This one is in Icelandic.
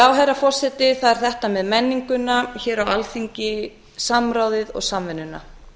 já herra forseti það er þetta með menninguna hér á alþingi samráðið og samvinnuna